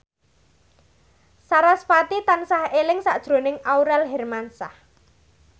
sarasvati tansah eling sakjroning Aurel Hermansyah